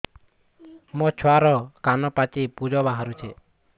ମୋ ଛୁଆର କାନ ପାଚି ପୁଜ ବାହାରୁଛି